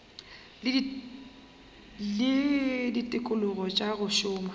le ditikologo tša go šoma